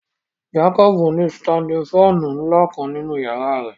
Jacob ni sitandin fàànù nla kan ninu yara rẹ